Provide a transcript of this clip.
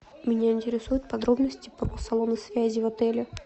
меня интересуют подробности про салоны связи в отеле